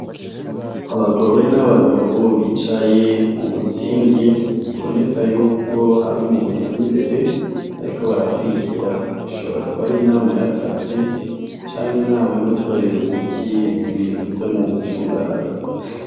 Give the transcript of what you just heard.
Abagore n'abagabo bicaye umuzingi biboneka yuko har'umuntu ar'imbere bariko barakurikira, ishobora kuba ar'inama yakazi ,cank'inama yo guterera umuti ibintu vyo mu micungararo.